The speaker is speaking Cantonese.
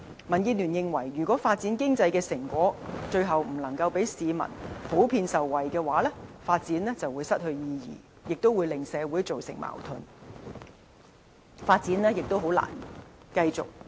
民建聯認為如果發展經濟的成果最後不能令市民普遍受惠，發展便會失去意義，也會為社會製造矛盾，發展亦難以繼續。